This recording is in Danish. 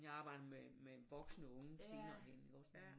Jeg arbejdede med med voksne unge senere hen ik også